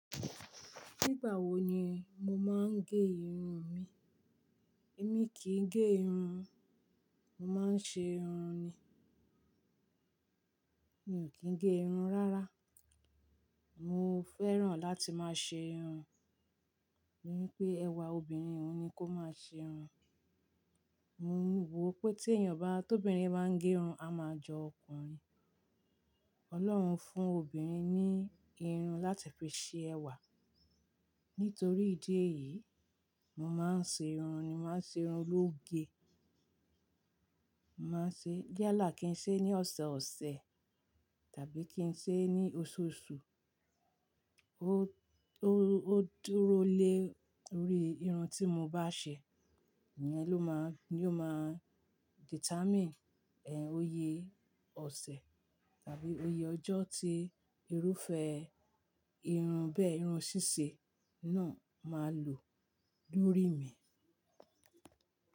Nígbà wo ni mo máa ń gẹ irun mi? Èmi kì í gẹ irun, mo máa ń ṣe irun ni. Mi ò kí ń gẹ irun rárá. Mo fẹ́ràn láti máa ṣe irun. Mo ní pé ẹwà obìnrin ni kó máa ṣe irun. Mo wò pé tí èèyàn bá tóbi rí bá ń gẹ irun, a máa jọ ọkùnrin. Ọlọ́run fún obìnrin ní irun láti fi ṣe ẹwà. Nítorí ìdí èyí, mo máa ń ṣe irun ni, màá ṣe irun ológe. Màá ṣe, yàlà kí n ṣe ní ọ̀sọ̀ọ̀sẹ̀ tàbí kí n ṣe ní oṣooṣù. Ó, ó dúró lé orí irun tí mo bá ṣe, niyẹn ló máa, ni ó máa determine, ẹ, oyè ọ̀sẹ̀ tàbí oyè ọjọ́ tí irúfẹ́ irun bẹ́ irún ṣíṣe náà máa lò lórí mi.